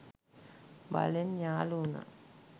බලෙන් යාළු වුණා.